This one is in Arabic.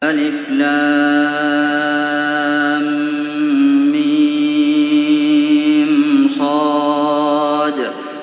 المص